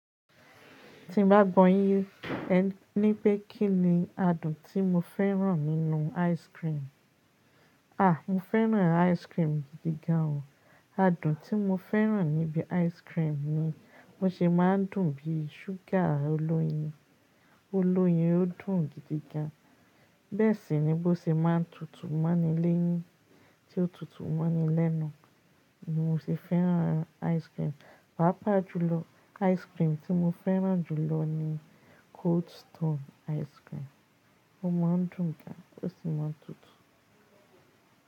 Tí n bá gbọ́ yín, ẹ ní pé kí ni adùn tí mo fẹ́ràn nínú ice cream? À, mo fẹ́ràn ice cream gidi gan o. Adùn tí mo fẹ́ràn níbi ice cream ni wọn ṣe máa ń dùn bí sugar olóyin. Olóyin ó dùn gidi gan. Bẹ́ẹ̀ sì ni bó ṣe máa ń tutù mọ́nilẹ́yìn tí ó tutù mọ́nilẹ́nu. Ni mo ṣe fẹ́ràn ice cream. Pàápàá jùlọ, ice cream tí mo fẹ́ràn jùlọ ni Cold Stone ice cream. Ó máa ń dùn gan, kò sì máa ń tutù.